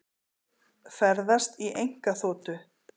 Ferðast í einkaþotu